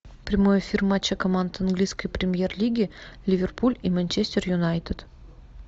прямой эфир матча команд английской премьер лиги ливерпуль и манчестер юнайтед